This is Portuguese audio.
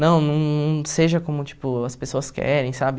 Não, não não seja como, tipo, as pessoas querem, sabe?